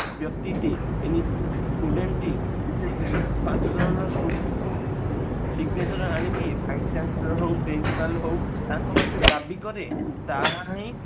ବ୍ୟକ୍ତି ଟି student ଟି student signature ଆଣିକି principal ହଉ ତାଙ୍କ ପାକରେ ଦାବି କରେ ତାହାହିଁ